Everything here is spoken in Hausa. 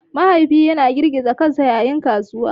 Mahaifi yana girgiza kansa yayin gaisuwa.